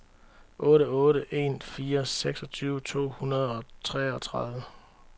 otte otte en fire seksogtyve to hundrede og treogtredive